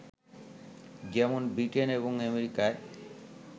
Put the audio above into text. যেমন ব্রিটেন এবং আমেরিকায়